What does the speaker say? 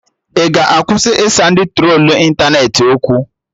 Ị ga-akwụsị ịsa ndị trolu ịntanetị okwu?